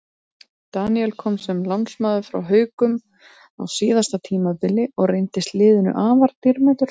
Daníel kom sem lánsmaður frá Haukum á síðasta tímabili og reyndist liðinu afar dýrmætur.